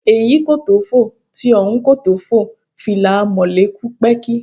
Èyí kò tó fò, ti ọ̀hún kò tó fò, fìlà Amọ̀lé kù pẹ́ẹ́kí